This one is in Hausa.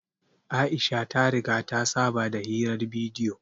Aisha ta riga ta saba da hirar bidiyo